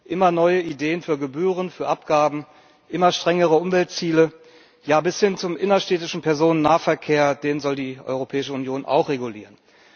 Immer neue Ideen für Gebühren, für Abgaben, immer strengere Umweltziele, ja bis hin zum innerstädtischen Personennahverkehr den soll die Europäische Union auch regulieren.